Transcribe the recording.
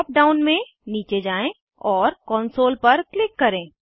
drop down में नीचे जाएँ और कंसोल पर क्लिक करें